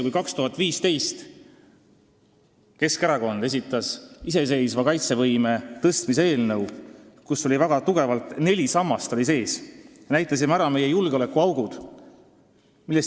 Kui 2015. aastal esitas Keskerakond iseseisva kaitsevõime tõstmise eelnõu, kus oli sees neli väga tugevat sammast, siis me näitasime ära ka meie julgeolekuaugud.